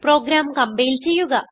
programme compile ചെയ്യുക